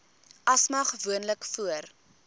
asma gewoonlik voor